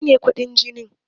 Mene ne kuɗin jini?